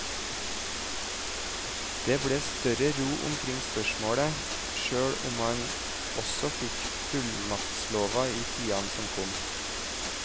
Det ble større ro omkring spørsmålet, selv om man også fikk fullmaktslover i tiden som kom.